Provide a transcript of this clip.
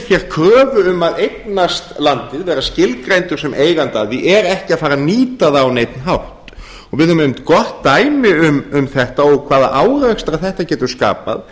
hér kröfu um að eignast landið verða skilgreindur sem eigandi að því er ekki að fara að nýta það á neinn hátt við höfum einmitt gott dæmi um þetta og hvaða árekstra þetta getur skapað